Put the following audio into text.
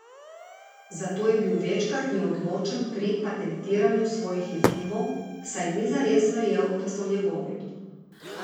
Zato je bil večkrat neodločen pri patentiranju svojih izumov, saj ni zares verjel, da so njegovi.